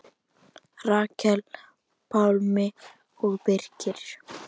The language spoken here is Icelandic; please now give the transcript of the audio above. Rakel, Pálmi og Birkir.